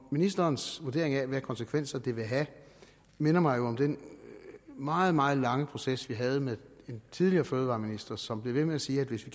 ministerens vurderinger af hvilke konsekvenser det vil have minder mig jo om den meget meget lange proces vi havde med en tidligere fødevareminister som blev ved med at sige at hvis vi